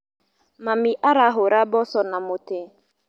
Mami arahũra mboco na mũtĩ.